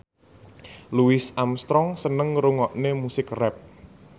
Louis Armstrong seneng ngrungokne musik rap